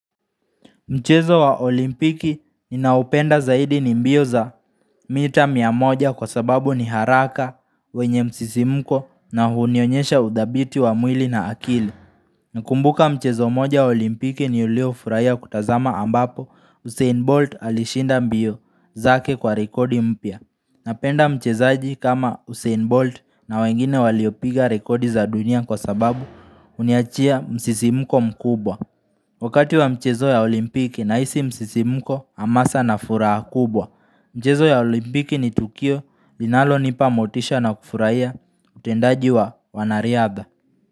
Mchezo wa olimpiki ninaoupenda zaidi ni mbio za mita mia moja kwa sababu ni haraka wenye msisimko na hunionyesha udhabiti wa mwili na akili. Na kumbuka mchezo moja wa olimpiki niliyofuraia kutazama ambapo Usain Bolt alishinda mbio zake kwa rekodi mpya. Napenda mchezoaji kama Usain Bolt na wengine waliopiga rekodi za dunia kwa sababu huniachia msisimko mkubwa. Wakati wa mchezo ya olimpiki nahisi msisi lmko, hamasa na furaha kubwa. Mchezo ya olimpiki ni Tukio, linalonipa motisha na kufurahia, utendaji wa wanariadha.